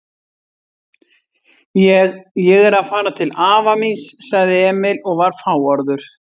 Ég. ég er að fara til afa míns, sagði Emil og var fáorður.